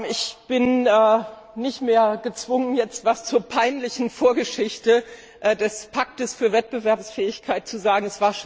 Ich bin nicht mehr gezwungen, jetzt etwas zu der peinlichen Vorgeschichte des Pakts für Wettbewerbsfähigkeit zu sagen.